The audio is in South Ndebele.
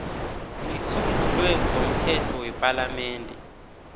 zisungulwe ngomthetho wepalamende